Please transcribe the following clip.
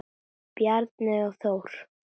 Bjarney og Þór.